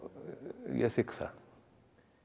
ég þigg það